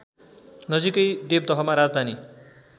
नजिकै देवदहमा राजधानी